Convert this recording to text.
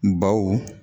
Baw